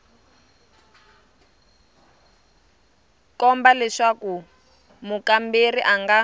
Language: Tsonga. komba leswaku mukamberiwa a nga